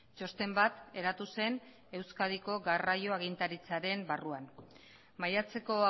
txosten bat eratu zen euskadiko garraio agintaritzaren barruan maiatzeko